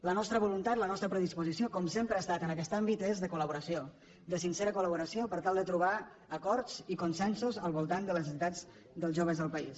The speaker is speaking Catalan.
la nostra voluntat la nostra predisposició com sempre ha estat en aquest àmbit és de col·laboració de sincera col·laboració per tal de trobar acords i consensos al voltant de les necessitats dels joves del país